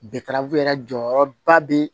yɛrɛ jɔyɔrɔba be